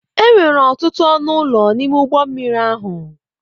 Enwere ọtụtụ ọnụ ụlọ n'ime ụgbọ mmiri ahụ.